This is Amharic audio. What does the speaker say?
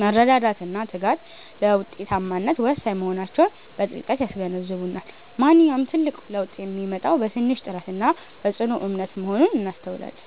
መረዳዳትና ትጋት ለውጤታማነት ወሳኝ መሆናቸውን በጥልቀት ያስገነዝቡናል። ማንኛውም ትልቅ ለውጥ የሚመጣው በትንሽ ጥረትና በጽኑ እምነት መሆኑን እናስተውላለን።